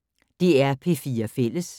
DR P4 Fælles